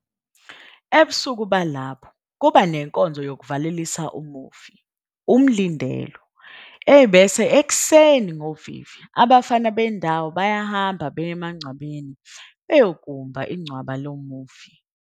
Ebusuku balapho kuba nenkonzo yokuvalelisa umufi, umlindelo, bese ekuseni ngovivi abafana bendawo bayahamba beye emagcwabeni beyokumba incwaba lo mufi.